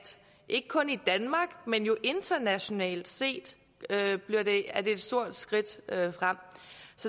ikke kun i danmark men jo internationalt set er et stort skridt frem